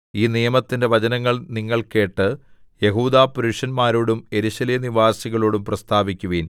ഈ നിയമത്തിന്റെ വചനങ്ങൾ നിങ്ങൾ കേട്ട് യെഹൂദാപുരുഷന്മാരോടും യെരൂശലേം നിവാസികളോടും പ്രസ്താവിക്കുവിൻ